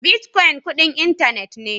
Bitcoin kudin intanet ne.